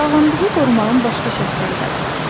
Sağlamlığı qorumağın başqa şərtləri də var.